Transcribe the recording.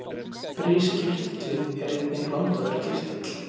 Briskirtillinn er einnig blandaður kirtill.